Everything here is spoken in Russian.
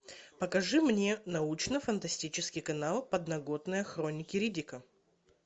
покажи мне научно фантастический канал подноготная хроники риддика